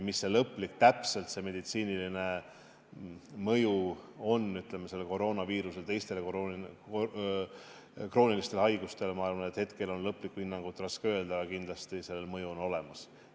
Mis see täpne meditsiiniline mõju on sellel koroonaviirusel teistele kroonilistele haigustele, ma arvan, et hetkel on selle kohta lõplikku hinnangut raske öelda, aga kindlasti see mõju on olemas.